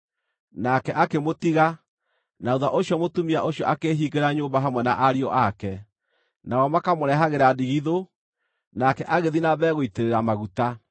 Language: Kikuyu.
Nake akĩmũtiga, na thuutha ũcio mũtumia ũcio akĩĩhingĩra nyũmba hamwe na ariũ ake. Nao makamũrehagĩra ndigithũ, nake agĩthiĩ na mbere gũitĩrĩra maguta.